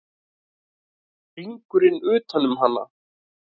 Hringurinn utan um hana.